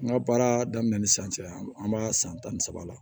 N ka baara daminɛ ni san cɛ an b'a san tan ni saba la